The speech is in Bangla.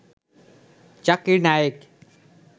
জাকির নায়েক